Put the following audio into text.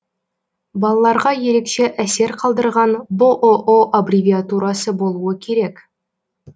балаларға ерекше әсер қалдырған бұұ аббревиатурасы болуы керек